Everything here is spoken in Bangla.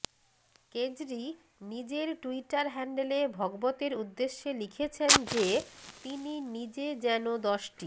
কেজরি নিজের টুইটার হ্যান্ডেলে ভগবতের উদ্দেশ্যে লিখেছেন যে তিনি নিজে যেন দশটি